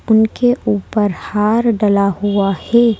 उनके ऊपर हार डला हुआ है।